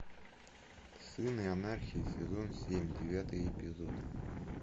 сыны анархии сезон семь девятый эпизод